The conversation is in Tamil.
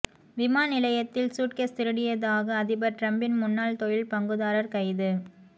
விமான நிலையத்தில் சூட்கேஸ் திருடியதாக அதிபர் டிரம்பின் முன்னாள் தொழில் பங்குதாரர் கைது